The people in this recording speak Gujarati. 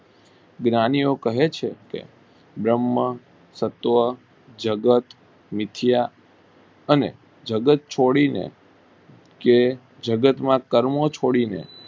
જ્ઞાનીઓ કહે છે કે બ્રહ્મ તત્વો જગત વિદ્યા અને જગત છોડી ને જે જગત માં ક્રમ છોડી ને